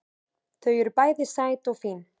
Þau eru bæði sæt og fín